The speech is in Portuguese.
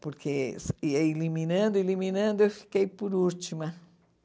Porque ia eliminando, eliminando, eu fiquei por última.